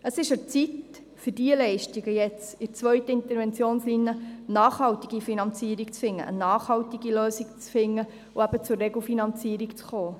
Es ist an der Zeit, für diese Leistungen jetzt in der zweiten Interventionslinie eine nachhaltige Finanzierung zu finden, eine nachhaltige Lösung zu finden und zur Regelfinanzierung zu kommen.